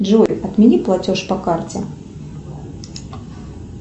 джой отмени платеж по карте